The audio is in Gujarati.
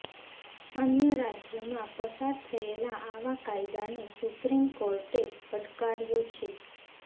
અન્ય રાજયોમાં પસાર થયેલા આવા કાયદાને સુપ્રીમ કોર્ટે પડકાર્યો છે